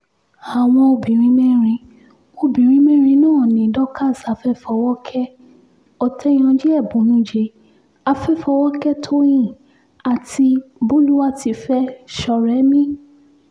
àwọn obìnrin mẹ́rin obìnrin mẹ́rin náà ni dorcas afẹfọwọ́kẹ́ òtéyànji èbùnújẹ́ àfẹfọwọ́kẹ̀ tóyin àti bólúwátìfẹ́ sọ̀rẹ́mì